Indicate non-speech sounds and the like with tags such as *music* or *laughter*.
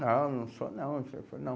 Não, não sou não. *unintelligible* Não.